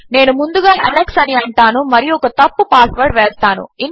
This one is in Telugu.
నేను ముందుగా అలెక్స్ అని అంటాను మరియు ఒక తప్పు పాస్వర్డ్ వేస్తాను